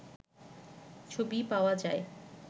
ছবি পাওয়া যায়